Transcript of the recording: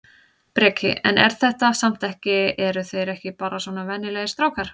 Breki: En er þetta samt ekki eru þeir ekki bara svona venjulegir strákar?